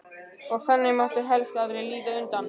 Og það mátti helst aldrei líta undan.